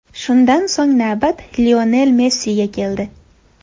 Shundan so‘ng navbat Lionel Messiga keldi.